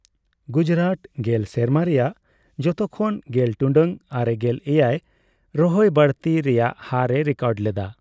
ᱜᱩᱡᱨᱟᱴ ᱜᱮᱞ ᱥᱮᱨᱢᱟ ᱨᱮᱭᱟᱜ ᱡᱚᱛᱚᱠᱷᱚᱱ ᱜᱮᱞ ᱴᱩᱰᱟᱹᱜ ᱟᱨᱮᱜᱮᱞ ᱮᱭᱟᱭ ᱨᱚᱦᱚᱭ ᱵᱟᱹᱲᱛᱤ ᱨᱮᱭᱟᱜ ᱦᱟᱨ ᱮ ᱨᱮᱠᱚᱨᱰ ᱞᱮᱫᱟ ᱾